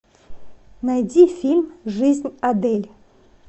найди фильм жизнь адель